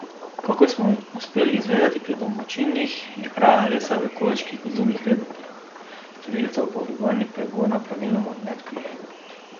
Kakor smo uspeli zvedeti pri domačinih, je kraja lesa v okoliških gozdovih reden pojav, storilcev pa organi pregona praviloma ne odkrijejo.